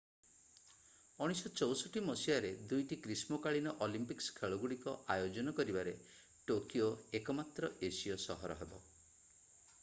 1964 ମସିହାରେ 2ଟି ଗ୍ରୀଷ୍ମକାଳୀନ ଅଲମ୍ପିକ୍ସ ଖେଳଗୁଡିକ ଆୟୋଜନ କରିବାରେ ଟୋକିଓ ଏକମାତ୍ର ଏସୀୟ ସହର ହେବ